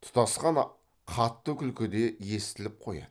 тұтасқан қатты күлкі де естіліп қояды